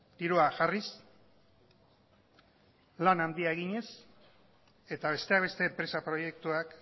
dirua jarriz lan handia eginez eta besteak beste enpresa proiektuak